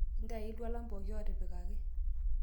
intayu iltualan pooki ootipikaki